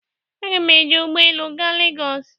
A ga m eji ụgbọ elu gaa Legos.